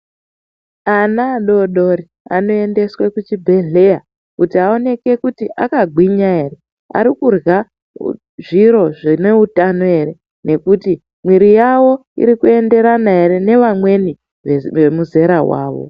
Ana adori-dori anoendeswa kuchibhedhlera, kuti aoneke kuti akagwinya ere, arikurya zviro zvineutano ere nekuti mwiri yavo irikuenderana nevamweni vemuzera wavo.